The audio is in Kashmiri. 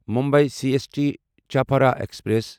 Mumbai C S T Chhapra express